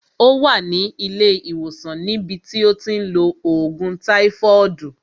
Ó wà ní ilé ìwòsàn ní bi tí ó ti ń lo ògùn táífọọdu